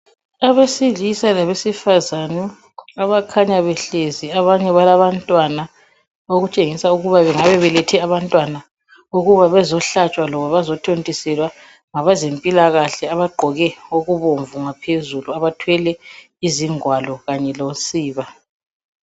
Abesilisa labesifazane.. Abakhanya behlezi. Abanye balalabantwana. Okutshengisa ukuba, bangabe belethe abantwana, ukuba bazehlatshwa, loba bazethontiselwa, ngabezempilakahle. Abagqoke okubomvu ngaphezulu. Abathwele izingwalo, kanye losiba.